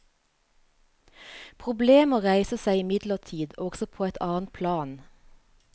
Problemer reiser seg imidlertid også på et annet plan.